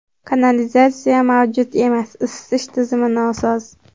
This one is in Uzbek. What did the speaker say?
Kanalizatsiya mavjud emas, isitish tizimi nosoz.